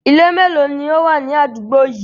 Ilé melo ló wà ní àdúgbò yìí?